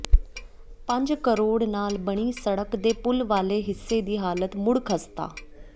ਪੰਜ ਕਰੋੜ ਨਾਲ ਬਣੀ ਸੜਕ ਦੇ ਪੁਲ ਵਾਲੇ ਹਿੱਸੇ ਦੀ ਹਾਲਤ ਮੁਡ਼ ਖ਼ਸਤਾ